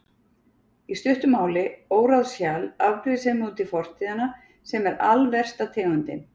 Í stuttu máli, óráðshjal, afbrýðisemi út í fortíðina, sem er alversta tegundin.